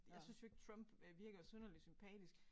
Jeg synes jo ikke Trump øh virker synderlig sympatisk